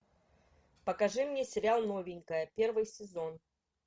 покажи мне сериал новенькая первый сезон